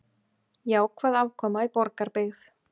Jákvæð afkoma í Borgarbyggð